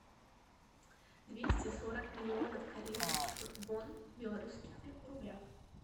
двести сорок миллионов корейских вон в белорусских рублях